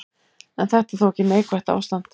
En þetta er þó ekki neikvætt ástand.